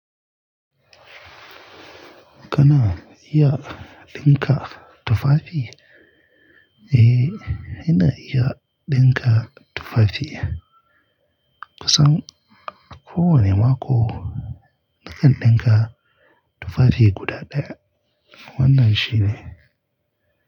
Kana iya ɗinka tufafi? Eh, ina iya ɗinka tufafi. Kusan kowane mako nakan ɗinka tufafi guda ɗaya. Wannan shi ne.